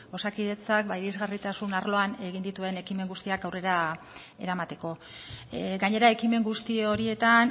osakidetza irisgarritasun arloan egin dituen ekimen guztiak aurrera eramateko gainera ekimen guzti horietan